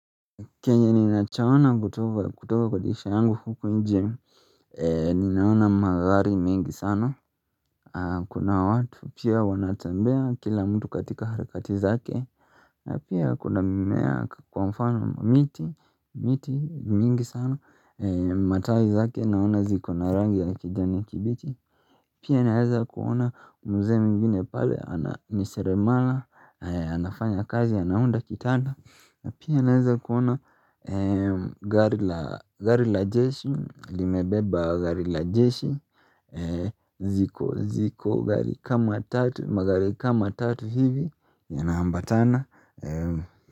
Chenye ninachaona kutoka kwa jeshi langu huku nje, ninaona magari mingi sana, kuna watu pia wanatembea kila mtu katika harikati zake, na pia kuna mimea kwa mfano miti, miti mingi sana, matawi zake naona ziko na rangi ya kijani kibichi. Pia naweza kuona mzee mwingine pale ana ni seremala, anafanya kazi, anaunda kitanda. Pia naweza kuona gari la jeshi, limebeba gari la jeshi. Ziko gari kama tatu, magari kama tatu hivi, yanaambatana.